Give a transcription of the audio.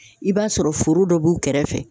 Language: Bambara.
I b'a sɔrɔ foro dɔ b'u kɛrɛfɛ